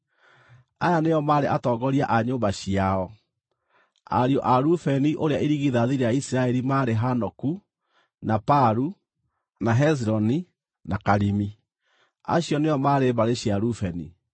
Aya nĩo maarĩ atongoria a nyũmba ciao: Ariũ a Rubeni ũrĩa irigithathi rĩa Isiraeli maarĩ Hanoku na Palu, na Hezironi, na Karimi. Acio nĩo maarĩ mbarĩ cia Rubeni.